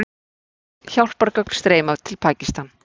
Hjálpargögn streyma til Pakistan